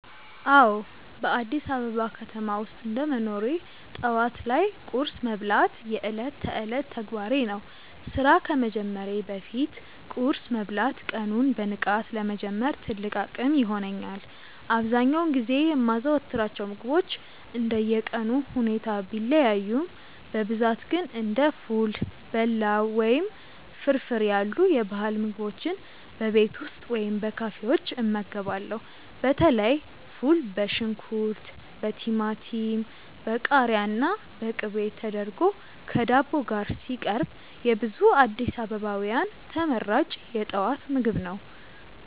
አዎ፣ በአዲስ አበባ ከተማ ውስጥ እንደ መኖሬ ጠዋት ላይ ቁርስ መብላት የዕለት ተዕለት ተግባሬ ነው። ስራ ከመጀመሬ በፊት ቁርስ መብላት ቀኑን በንቃት ለመጀመር ትልቅ አቅም ይሆነኛል። አብዛኛውን ጊዜ የማዘወትራቸው ምግቦች እንደየቀኑ ሁኔታ ቢለያዩም፣ በብዛት ግን እንደ ፉል፣ በላው ወይም ፍርፍር ያሉ የባህል ምግቦችን በቤት ውስጥ ወይም በካፌዎች እመገባለሁ። በተለይ ፉል በሽንኩርት፣ በቲማቲም፣ በቃሪያና በቅቤ ተደርጎ ከዳቦ ጋር ሲቀርብ የብዙ አዲስ አበባውያን ተመራጭ የጠዋት ምግብ ነው።